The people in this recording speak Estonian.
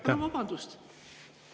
Palun vabandust!